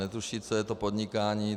Netuší, co je to podnikání.